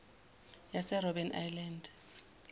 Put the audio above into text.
yase robben island